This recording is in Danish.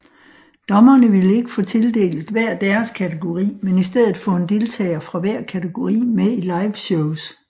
Dommerne ville ikke få tildelt hver deres kategori men i stedet få en deltager fra hver kategori med i liveshows